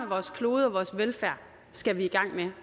vores klode og vores velfærd skal vi i gang med